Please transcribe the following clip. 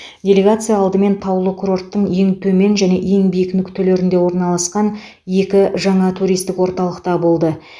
делегация алдымен таулы курорттың ең төмен және ең биік нүктелерінде орналасқан екі жаңа туристік орталықта болды